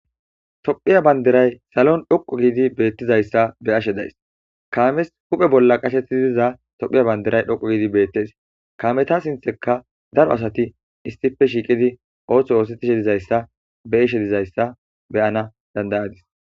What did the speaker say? Tophiya banderay salon dhoqu giidi beettizayssa be ashe days kaames huphe bolla qasheti diza tophiya banderay dhoqu giidi beettes kaameta sintheka daro asati istife shiiqidi ooththo oosetishe dizayssa be ishe dizayssa beyana dandayadis